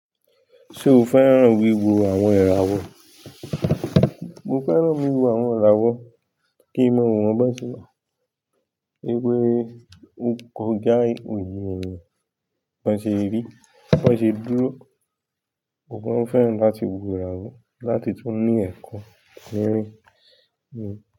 Ṣé o fẹ́ràn wíwo àwọn iràwọ? Mo fẹ́ràn wíwo àwọn iràwọ kí n mọ wo wọ́n bọ́ sẹ̀. Pe ọkọ̀ja oye me bi wọ́n ṣe rí, wọ́n sì dúró. Mo fẹ́ràn láti wo iràwọ láti tún ní ẹ̀kọ́ nírìn.